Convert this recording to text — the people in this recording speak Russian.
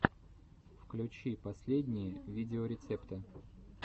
включи последние видеорецепты